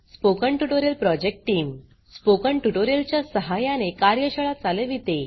spoken tutorial project team spoken tutorial च्या सहाय्याने कार्यशाळा चालविते